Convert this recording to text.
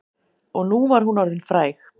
Og nú var hún orðin fræg.